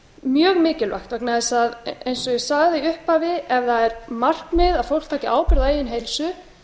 mjög mikilvægt vegna þess að eins og ég sagði í upphafi ef það er markmið að fólk taki ábyrgð á eigin heilsu